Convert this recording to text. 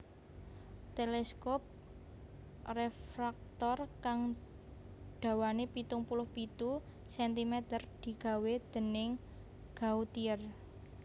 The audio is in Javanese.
Teleskop refraktor kang dawané pitung puluh pitu centimeter digawé dèning Gautier